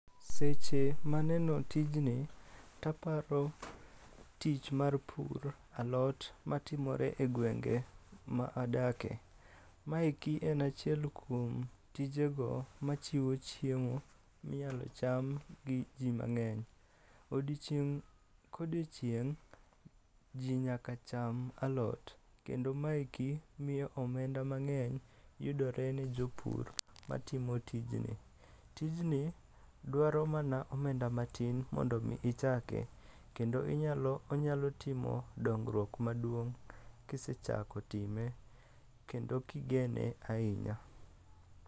Seche maneno tijni taparo tich mar pur alot matimore e gwenge ma adake. Maeki en achiel kuom tijego machiwo chiemo minyalo cham gi ji mang'eny. Odiochieng' kodiochieng', ji nyaka cham alot kendo maeki miyo omenda mang'eny yudore ne jopur matimo tijni. Tijni dwaro mana omenda matin mondo omi ichake, kendo onyalo timo dongruok maduong' kisechako time kendo kigene ahinya.